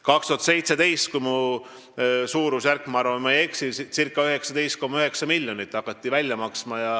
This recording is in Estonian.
2017. aastal – ma arvan, et ma suurusjärguga ei eksi – maksti circa 19,9 miljonit.